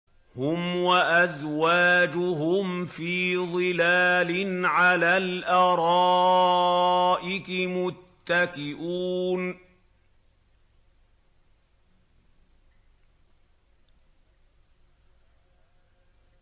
هُمْ وَأَزْوَاجُهُمْ فِي ظِلَالٍ عَلَى الْأَرَائِكِ مُتَّكِئُونَ